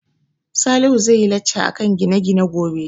Salihu zai yi lacca akan gine-gine gobe